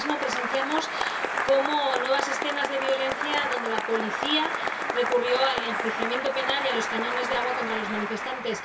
Ayer mismo presenciamos nuevas escenas de violencia, donde la policía recurrió al enjuiciamiento penal y a los cañones de agua contra los manifestantes.